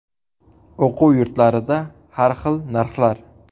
O‘quv yurtlarida har xil narxlar.